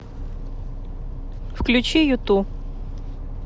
включи юту